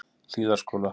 Hlíðarskóla